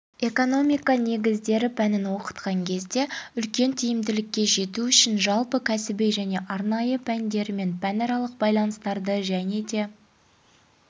экономика негіздері пәнін оқытқан кезде үлкен тиімділікке жету үшін жалпы кәсіби және арнайы пәндерімен пәнаралық байланыстарды және де